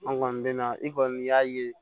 An kɔni bɛ na i kɔni y'a ye